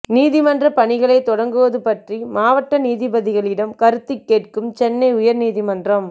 நீதிமன்ற பணிகளை தொடங்குவது பற்றி மாவட்ட நீதிபதிகளிடம் கருத்துக்கேட்கும் சென்னை உயர்நீதிமன்றம்